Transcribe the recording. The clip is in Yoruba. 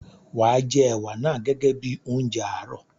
Wàá jẹ ẹ̀wà naa gẹ́gẹ́ bíi oúnjẹ àárọ̀.